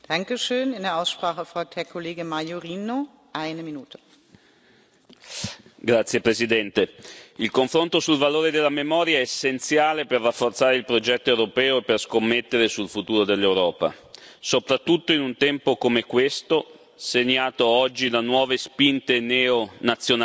Signora Presidente, onorevoli colleghi, il confronto sul valore della memoria è essenziale per rafforzare il progetto europeo e per scommettere sul futuro dell'Europa, soprattutto in un tempo come questo, segnato oggi da nuove spinte neonazionaliste e pure da tentativi come si è discusso proprio ieri